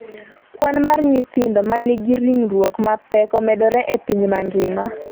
kwan mar nyithindo ma nigi ringruok mapek omedore e piny mangima